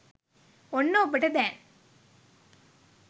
ඔන්න ඔබට දැන්